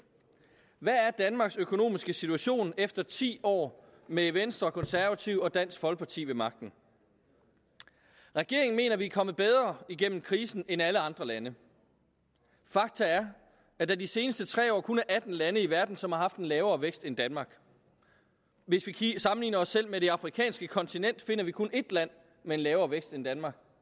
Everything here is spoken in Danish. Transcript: hvad er danmarks økonomiske situation efter ti år med venstre konservative og dansk folkeparti ved magten regeringen mener vi er kommet bedre igennem krisen end alle andre lande fakta er at der de seneste tre år kun er atten lande i verden som har haft en lavere vækst end danmark hvis vi sammenligner os selv med det afrikanske kontinent finder vi kun ét land med en lavere vækst end danmark